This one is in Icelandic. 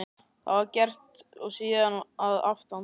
Það var gert og síðan að aftan.